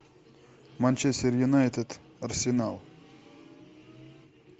манчестер юнайтед арсенал